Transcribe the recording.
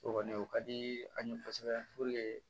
O kɔni o ka di an ye kosɛbɛ